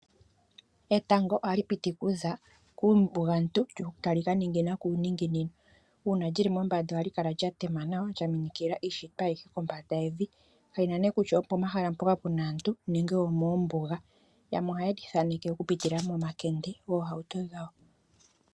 Etango ohali piti kuza kuumbugantu tali ka ningina kuuzilo. Uuna lyili mombanda ohali kala lya tema nawa, lya minikila iishitwa ayihe. Kalina ne kutya opo mahala mpoka puna aantu nenge omoombuga yamwe ohaye lithaneke oku pitila momakende goohauto dhawo.